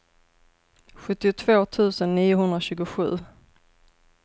sjuttiotvå tusen niohundratjugosju